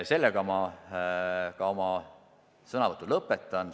Sellega ma oma sõnavõtu lõpetan.